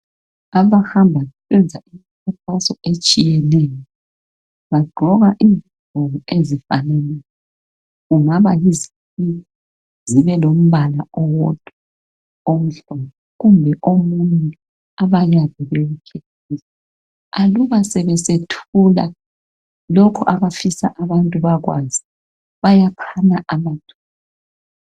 Abahamba besenza imkhankaso etshiyeneyo bagqoka izigqoko ezifananayo kungaba yizikipa zibe lombala owodwa omhlophe kumbe omunye. Abanikazi bempilo aluba sebesethula lokho abafisa abantu bekwazi bayaphana amathuba.